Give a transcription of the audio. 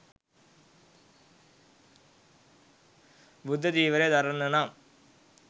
බුද්ධ චීවරය දරන්න නම්,